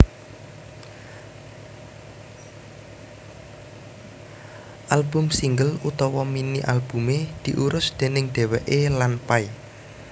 Album single utawa mini albumé diurus déning dheweké lan Pay